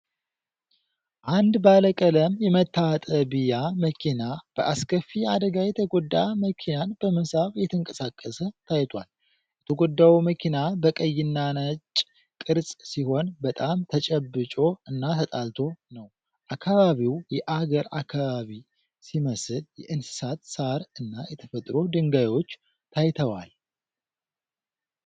አንድ ባለቀለም የመታጠቢያ መኪና በአስከፊ አደጋ የተጎዳ መኪናን በመሳብ እየተንቀሳቀሰ ታይቷል። የተጎዳው መኪና በቀይና ነጭ ቅርጽ ሲሆን በጣም ተጨብጮ እና ተጣልቶ ነው። አካባቢው የአገር አካባቢ ሲመስል የእንስሳት ሣር እና የተፈጥሮ ድንጋዮች ታይተዋል።